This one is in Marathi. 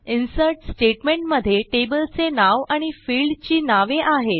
इन्सर्ट स्टेटमेंटमधे टेबल चे नाव आणि फील्ड ची नावे आहेत